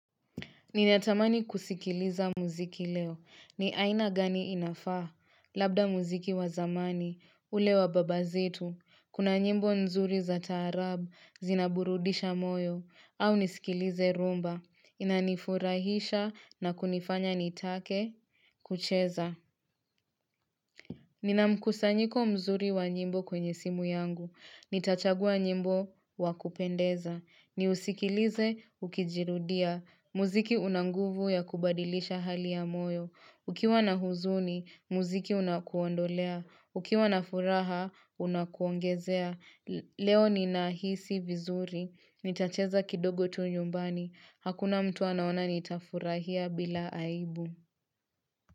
Ninatamani kusikiliza muziki leo. Ni aina gani inafaa. Labda muziki wa zamani. Ule wa babazetu. Kuna nyimbo nzuri za taarabu. Zinaburudisha moyo. Au nisikilize rumba. Inanifurahisha na kunifanya nitake kucheza. Nina mkusanyiko mzuri wa nyimbo kwenye simu yangu. Nitachagua nyimbo wa kupendeza. Ni usikilize, ukijirudia. Muziki unanguvu ya kubadilisha hali ya moyo. Ukiwa na huzuni, muziki unakuondolea. Ukiwa na furaha, unakuongezea. Leo ninahisi vizuri. Nitacheza kidogo tu nyumbani. Hakuna mtu anaona nitafurahia bila aibu.